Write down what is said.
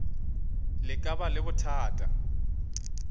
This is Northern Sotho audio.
le ka ba le bothata